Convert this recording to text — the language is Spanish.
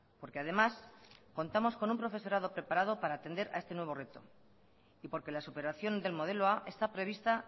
porque además contamos con un profesorado preparado para atender a este nuevo reto y porque la superación del modelo a está prevista